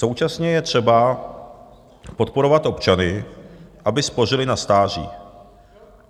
Současně je třeba podporovat občany, aby spořili na stáří.